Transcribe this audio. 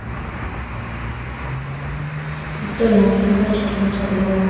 viktorina va qiziqarli shartlar o‘tkaziladi.